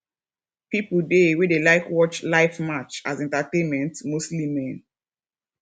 pipo dey wey dey like watch live match as entertainment mostly men